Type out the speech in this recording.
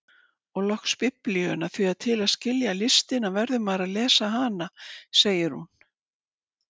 Og loks Biblíuna, því til að skilja listina verður maður að lesa hana segir hún.